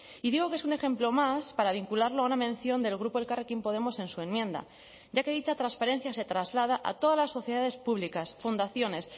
y digo que es un ejemplo más para vincularlo a una mención del grupo elkarrekin podemos en su enmienda ya que dicha transparencia se traslada a todas las sociedades públicas fundaciones